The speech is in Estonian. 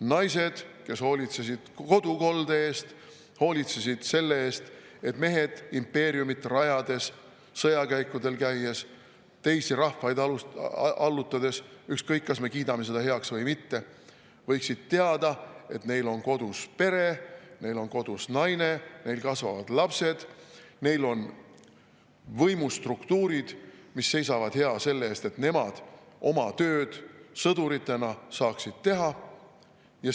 Naised hoolitsesid kodukolde eest, hoolitsesid selle eest, et mehed impeeriumi rajades, sõjakäikudel käies, teisi rahvaid allutades – ükskõik, kas me kiidame selle heaks või mitte – võiksid teada, et neil on kodus pere, neil on kodus naine, neil kasvavad lapsed, neil on võimustruktuurid, mis seisavad hea selle eest, et nemad sõduritena saaksid oma tööd teha.